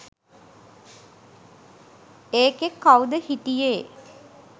ඒකෙ කවුද හිටියේ